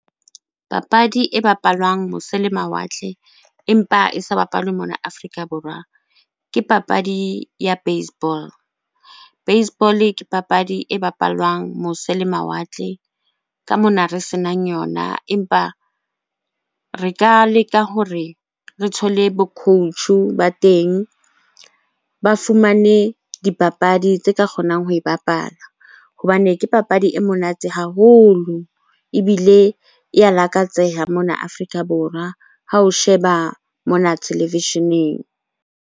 Papadi e bapalwang mose le mawatle empa e sa bapalwe mona Afrika Borwa, ke papadi ya baseball. Baseball-e ke papadi e bapalwang mose le mawatle ka mona re senang yona. Empa re ka leka hore re thole bo coach-o ba teng, ba fumane dipapadi tse ka kgonang ho e bapala hobane ke papadi e monate haholo ebile e ya lakatseha mona Afrika Borwa ha o sheba mona televisheneng.